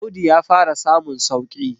Audu ya fara samun sauki